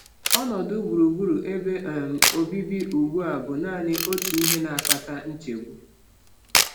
Ọnọdụ gburugburu ebe um obibi ugbu a bụ naanị otu ihe na-akpata nchegbu.